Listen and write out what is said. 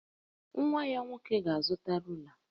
Nwa ya nwoke ga-azụta rula